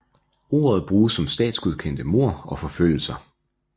Ordet bruges om statsgodkendte mord og forfølgelser